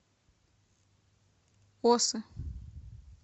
осы